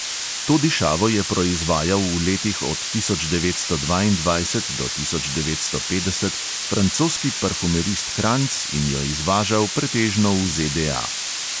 To dišavo je proizvajal v letih od tisoč devetsto dvaindvajset do tisoč devetsto petdeset francoski parfumerist kranjc in jo izvažal pretežno v ZDA.